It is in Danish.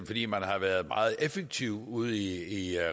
fordi man har været meget effektiv ude i